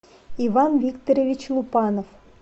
иван викторович лупанов